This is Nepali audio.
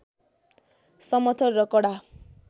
समथर र कडा